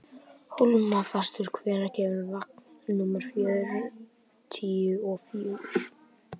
Hólmfastur, hvenær kemur vagn númer fjörutíu og fjögur?